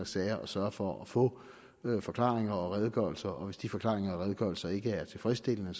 sager og sørger for at få forklaringer og redegørelser og hvis de forklaringer og redegørelser ikke er tilfredsstillende